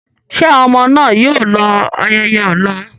Ṣé àwọn ọmọ náà yóò lọ ayẹyẹ ọ̀la?